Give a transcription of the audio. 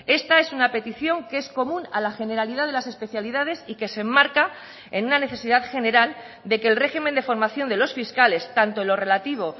esta es una petición que es común a la generalidad de las especialidades y que se enmarca en una necesidad general de que el régimen de formación de los fiscales tanto en lo relativo